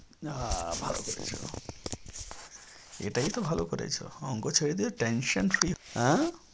আহ ভালো করেছো। এটাই তো ভালো করেছো অঙ্ক ছেড়ে দিয়েছো tension free আঁ